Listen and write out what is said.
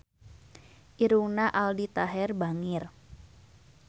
Irungna Aldi Taher bangir